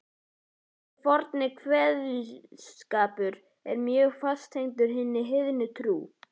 Þessi forni kveðskapur er mjög fast tengdur hinni heiðnu trú.